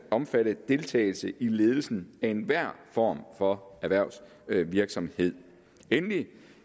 omfatte deltagelse i ledelsen af enhver form for erhvervsvirksomhed endelig